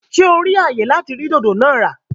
Ṣe o ri ayé láti rí dodo naa ra?